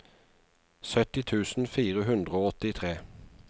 sytti tusen fire hundre og åttitre